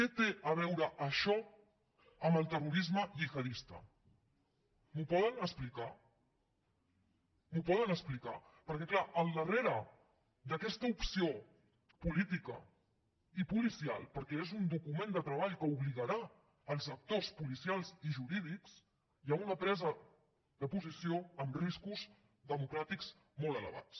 que té a veure això amb el terrorisme gihadista m’ho poden explicar m’ho poden explicar perquè és clar al darrere d’aquesta opció política i policial perquè és un document de treball que obligarà els actors policials i jurídics hi ha una presa de posició amb riscos democràtics molt elevats